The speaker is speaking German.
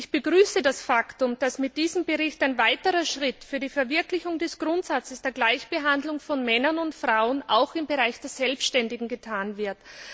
Ich begrüße das Faktum, dass mit diesem Bericht ein weiterer Schritt hin zur Verwirklichung des Grundsatzes der Gleichbehandlung von Männern und Frauen auch im Bereich der Selbständigen getan wird.